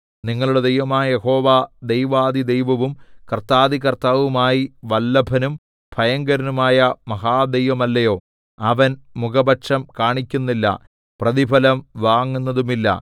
നിങ്ങളുടെ ദൈവമായ യഹോവ ദൈവാധിദൈവവും കർത്താധികർത്താവുമായി വല്ലഭനും ഭയങ്കരനുമായ മഹാദൈവമല്ലയോ അവൻ മുഖപക്ഷം കാണിക്കുന്നില്ല പ്രതിഫലം വാങ്ങുന്നതുമില്ല